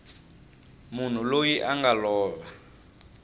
munhu loyi a nga lova